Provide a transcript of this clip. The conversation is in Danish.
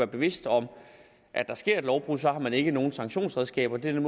bevidst om at der sker et lovbrud så har man ikke nogen sanktionsredskaber det er den